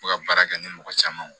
U bɛ ka baara kɛ ni mɔgɔ caman ye